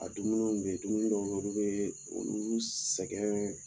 A dumuniw bɛ dumuni dɔw bɛ yen olu bɛ olu sɛgɛn